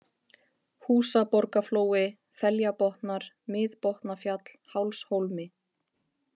Húsaborgaflói, Feljabotnar, Miðbotnafjall, Hálshólmi